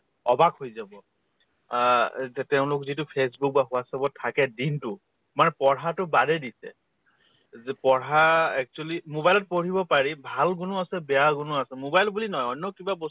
অবাক হৈ যাব অ এতিয়া তেওঁলোক যিটো facebook বা whatsapp ত থাকে দিনতো মানে পঢ়াতো বাদেই দিছে এই যে পঢ়া actually mobile ত পঢ়িব পাৰি ভাল গুণো আছে বেয়া গুণো আছে mobile বুলি নহয় অন্য কিবা